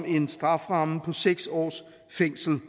en strafferamme på seks års fængsel